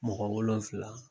Mɔgɔ wolonvila.